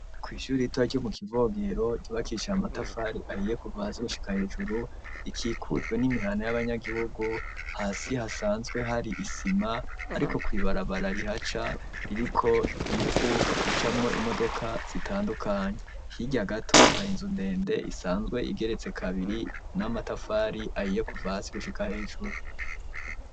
kwishuri ritoya ryo mu kivogero ryubakishij' amatafari ahiye kuva hasi gushika hejuru ikikujwe n'imihana y'abanyagihugu , hasi hasanzwe hari isima , ariko kwibarabara rihaca ririko ivu , hacamwo imodoka zitandukanye hirya gato hari inzu ndende isanzwe igeretse kabiri , n'amatafari ahiye kuva hasi gushika hejuru.